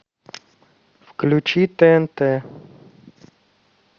включи тнт